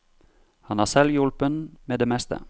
Han er selvhjulpen med det meste.